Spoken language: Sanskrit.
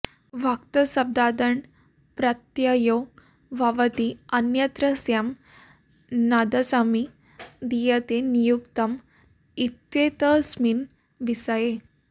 भक्तशब्दादण् प्रत्ययो भवति अन्यत्रस्याम् तदसमि दीयते नियुक्तम् इत्येतस्मिन् विषये